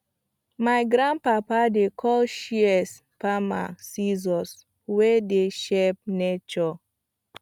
my grandpapa dey call shears farmer scissors wey dey shape nature